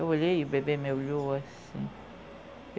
Eu olhei e o bebê me olhou assim.